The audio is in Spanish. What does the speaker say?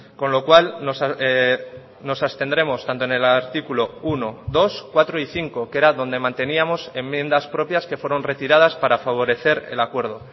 con lo cual nos abstendremos tanto en el artículo uno dos cuatro y cinco que era donde manteníamos enmiendas propias que fueron retiradas para favorecer el acuerdo